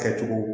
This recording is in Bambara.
Kɛcogo